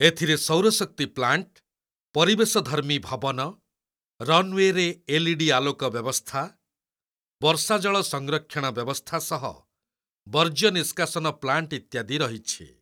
ଏଥିରେ ସୌର ଶକ୍ତି ପ୍ଲାଣ୍ଟ, ପରିବେଶଧର୍ମୀ ଭବନ, ରନୱେରେ ଏଲ୍ଇଡି ଆଲୋକ ବ୍ୟବସ୍ଥା, ବର୍ଷାଜଳ, ସଂରକ୍ଷଣ ବ୍ୟବସ୍ଥା ସହ ବର୍ଜ୍ୟ ନିଷ୍କାସନ ପ୍ଲାଣ୍ଟ ଇତ୍ୟାଦି ରହିଛି।